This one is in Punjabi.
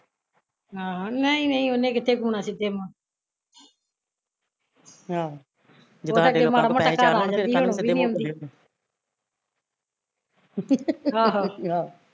ਆਹੋ, ਨਹੀਂ ਨਹੀਂ ਉਹਨੇ ਕਿੱਥੇ ਹੁਣਾ ਸਿੱਧੇ ਮੁਹ ਉਦੋਂ ਚੱਲ ਮਾੜਾ ਮੋਟਾ ਘਰ ਆ ਜਾਂਦੀ ਸੀ ਹੁਣ ਉਹ ਵੀ ਨੀ ਆਉਂਦੀ ਆਹੋ